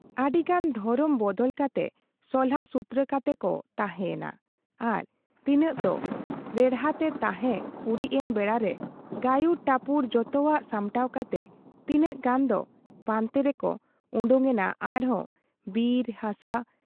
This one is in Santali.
ᱟᱹᱰᱤ ᱜᱟᱱ ᱫᱷᱚᱨᱚᱢ ᱵᱚᱫᱚᱞ ᱠᱟᱛᱮ ᱥᱚᱞᱦᱟᱥᱩᱛᱨᱟᱹ ᱠᱟᱛᱮ ᱠᱚ ᱛᱟᱦᱮᱸ ᱭᱮᱱᱟ ᱟᱨ ᱛᱤᱱᱟᱹᱜ ᱫᱚ ᱨᱮᱬᱦᱟᱛᱮ ᱛᱟᱦᱮᱸ ᱩᱨᱤᱡ ᱮᱱ ᱵᱮᱲᱟᱨᱮ ᱜᱟᱹᱭᱩᱨ ᱴᱟᱹᱯᱩᱭ ᱡᱚᱛᱚᱣᱟᱜ ᱥᱟᱢᱴᱟᱣ ᱠᱟᱛᱮ ᱛᱤᱱᱟᱹᱜ ᱜᱟᱱ ᱫᱚ ᱯᱟᱱᱛᱮ ᱨᱮᱠᱚ ᱚᱰᱚᱠ ᱮᱱᱟ ᱟᱨᱦᱚᱸ ᱵᱤᱨ ᱦᱟᱥᱟ ᱾